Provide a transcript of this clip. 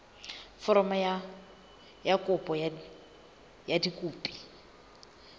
foromo ya kopo ka dikopi